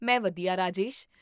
ਮੈਂ ਵਧੀਆ, ਰਾਜੇਸ਼